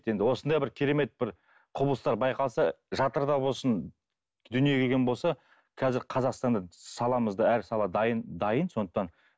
енді осындай бір керемет бір құбылыстар байқалса жатырда болсын дүниеге келген болса қазір қазақстанда саламызда әр сала дайын дайын сондықтан